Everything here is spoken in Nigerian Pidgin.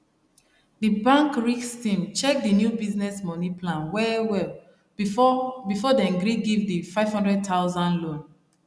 the bank risk team check the new business money plan well well before before dem gree give the 500000 loan